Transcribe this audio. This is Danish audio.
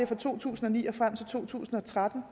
fra to tusind og ni og frem til to tusind og tretten